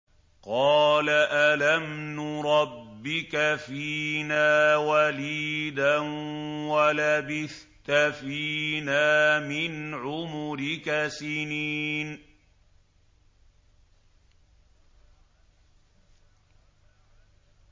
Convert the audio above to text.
قَالَ أَلَمْ نُرَبِّكَ فِينَا وَلِيدًا وَلَبِثْتَ فِينَا مِنْ عُمُرِكَ سِنِينَ